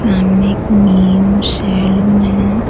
सामने एक main saloon है।